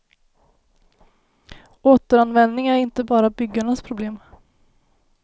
Återanvändning är inte bara byggarnas problem.